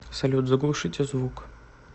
салют заглушите звук